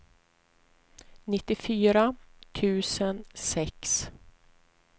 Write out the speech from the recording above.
nittiofyra tusen sex